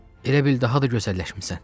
Elə bil daha da gözəlləşmisən.